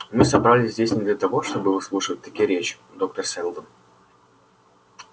мы собрались здесь не для того чтобы выслушивать такие речи доктор сэлдон